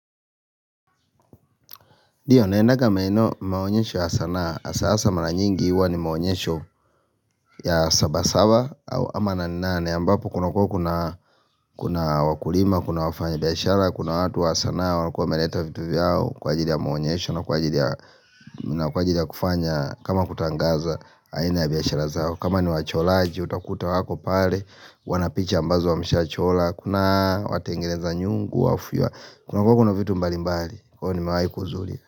Ndio, naendaga maeno maonyesho ya sanaa, hasa hasa maranyingi huwa ni maonyesho ya sabasaba au ama naninane, ambapo kuna kua kuna kuna wakulima, kuna wafanya biashara Kuna watu wa sanaa, wakua meleta vitu vyao kwa ajili ya maonyesho na kwa ajili ya na kwa jili ya kufanya kama kutangaza, aina ya biashara zao, kama ni wacholaji, utakuta wako pale Wanapicha ambazo wameshachola, kuna watengeneza nyungu, wafuwa Kuna kuwa kuna vitu mbali mbali, huwa ni mewai kuzuli.